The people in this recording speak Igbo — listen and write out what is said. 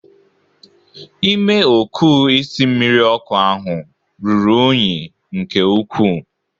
Ime okuu isi mmiri ọkụ ahụ ruru unyi nke ukwu.